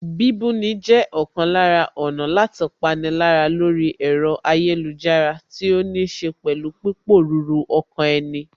Bíbúni jẹ́ ọ̀kan lára ọ̀nà láti pani lára lórí ẹ̀rọ ayélujára tí ó níṣe pẹ̀lú pípòruru ọkàn ẹni